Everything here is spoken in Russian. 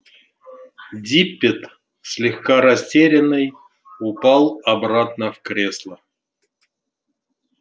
диппет слегка растерянный упал обратно в кресло